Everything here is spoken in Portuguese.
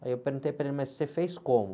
Aí eu perguntei para ele, mas você fez como?